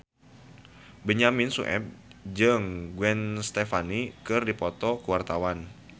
Benyamin Sueb jeung Gwen Stefani keur dipoto ku wartawan